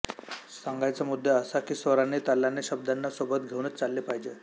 सांगायचा मुद्दा असा की स्वरांनी तालाने शब्दांना सोबत घेऊनच चालले पाहिजे